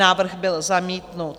Návrh byl zamítnut.